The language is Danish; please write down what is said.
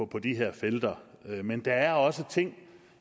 på de her felter men der er også ting